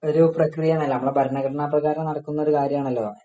ഒരു പ്രക്രിയ ആണലോ നമ്മുടെ ഭരണഘടന അപ്പൊ അത് കാരണം നടത്തുന്ന ഒരു കാര്യമാണല്ലോ